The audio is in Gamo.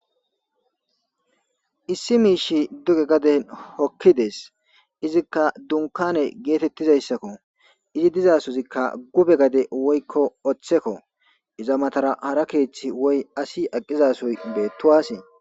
Issi miishshey duge gaden hokkides.izikka dunkkaane geetettizayssako.izi dozaasozikka gube gade woykko oththeko. Iza matara hara keethi woy asi aqizaasoybeettuwaase.